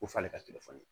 Ko f'ale ka telefɔni